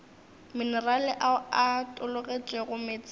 minerale ao a tologetšego meetseng